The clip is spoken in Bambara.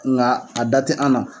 Nga a da te an na